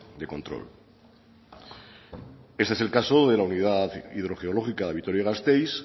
de control este es el caso de la unidad hidrogeológica de vitoria gasteiz